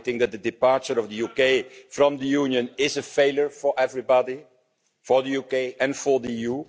I think that the departure of the UK from the Union is a failure for everybody for the UK and for the EU.